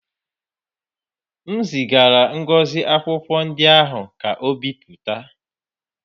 M zigara Ngozi akwụkwọ ndị ahụ ka o bipụta